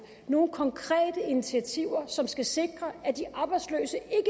nogle konkrete initiativer som skal sikre at de arbejdsløse